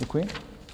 Děkuji.